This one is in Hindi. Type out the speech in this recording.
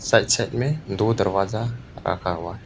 साइड साइड में दो दरवाजा रखा हुआ है।